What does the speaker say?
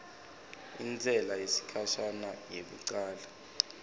intsela yesikhashana yekucala